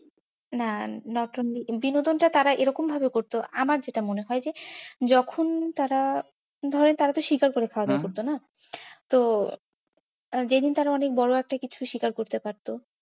না নতুন, বিনোদন টা তারা এরকম ভাবে করত, আমার যেটা মনে হয় যে যখন তারা গুহায় তো তারা শিকার করে খাওয়া দাওয়া করত না। তো আহ যেদিন তারা অনেক বড়ো একটা কিছু শিকার করতে পারতো।